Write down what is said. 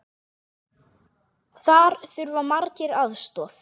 Þar þurfa margir aðstoð.